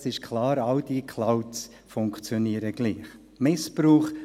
Es ist klar, all diese Clouds funktionieren gleich.